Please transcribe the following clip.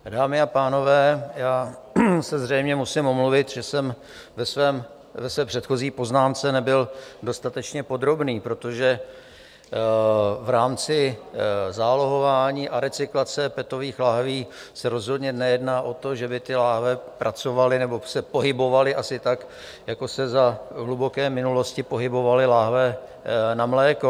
Dámy a pánové, já se zřejmě musím omluvit, že jsem ve své předchozí poznámce nebyl dostatečně podrobný, protože v rámci zálohování a recyklace petových láhví se rozhodně nejedná o to, že by ty láhve pracovaly nebo se pohybovaly asi tak, jako se za hluboké minulosti pohybovaly láhve na mléko.